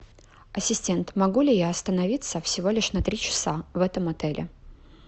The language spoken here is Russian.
ассистент могу ли я остановиться всего лишь на три часа в этом отеле